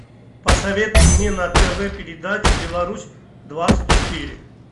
посоветуй мне на тв передачу беларусь двадцать четыре